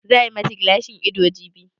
Za a yi ma ta gilashin ido jibi?